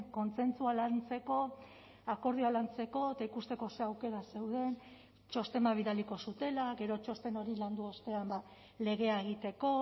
kontsentsua lantzeko akordioa lantzeko eta ikusteko ze aukera zeuden txosten bat bidaliko zutela gero txosten hori landu ostean legea egiteko